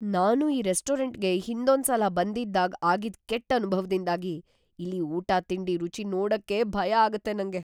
ನಾನು ಈ ರೆಸ್ಟೋರಂಟ್‌ಗೆ ಹಿಂದೊಂದ್ಸಲ ಬಂ‌ದಿದ್ದಾಗ್‌ ಆಗಿದ್ ಕೆಟ್ಟ್ ಅನುಭವದಿಂದಾಗಿ ಇಲ್ಲಿ‌ ಊಟತಿಂಡಿ ರುಚಿ ನೋಡಕ್ಕೇ ಭಯ ಆಗತ್ತೆ ನಂಗೆ.